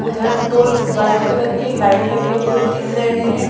उधर दो white colour के लाइट लगे हुए दिख रहे है।